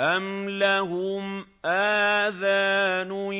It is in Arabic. أَمْ لَهُمْ آذَانٌ